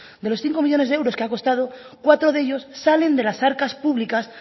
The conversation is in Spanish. de los cinco millónes de euros que ha costado cuatro de ellos salen de las arcas públicas